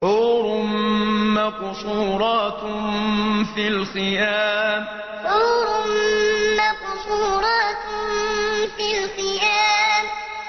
حُورٌ مَّقْصُورَاتٌ فِي الْخِيَامِ حُورٌ مَّقْصُورَاتٌ فِي الْخِيَامِ